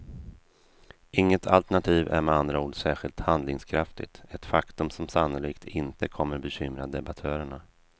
Inget alternativ är med andra ord särskilt handlingskraftigt, ett faktum som sannolikt inte kommer bekymra debattörerna.